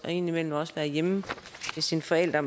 ind imellem også være hjemme hos sine forældre